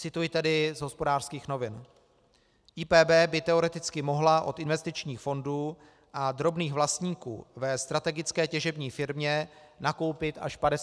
Cituji tedy z Hospodářských novin: "IPB by teoreticky mohla od investičních fondů a drobných vlastníků ve strategické těžební firmě nakoupit až 50 % akcií.